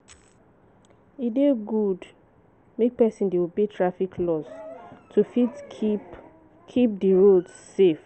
E dey good make person dey obey traffic laws to fit keep kep di roads safe